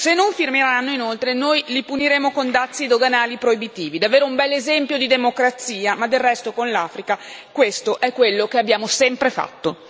Se non firmeranno, inoltre, noi li puniremo con dazi doganali proibitivi davvero un bell'esempio di democrazia, ma del resto con l'Africa questo è quello che abbiamo sempre fatto.